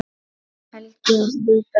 Helgi á þrjú börn.